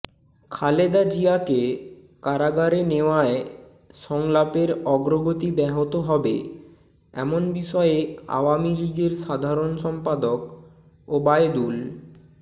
খালেদা জিয়াকে কারাগারে নেওয়ায় সংলাপের অগ্রগতি ব্যাহত হবে এমন বিষয়ে আওয়ামী লীগের সাধারণ সম্পাদক ওবায়দুল